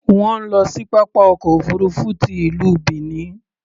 Wọ́n ń lọ sí pápá ọkọ̀ òfuurufú ti ìlú Benin.